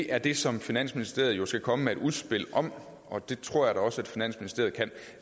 er det som finansministeriet jo skal komme med et udspil om og det tror jeg da også at finansministeriet kan